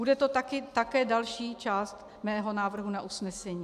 Bude to také další část mého návrhu na usnesení.